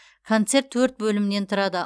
концерт төрт бөлімнен тұрады